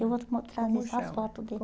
Eu vou te mos trazer as fotos dele.